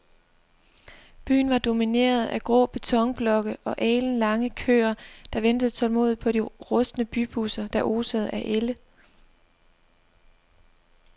Byen var domineret af grå betonblokke og alenlange køer, der ventede tålmodigt på de rustne bybusser, der osede af ælde.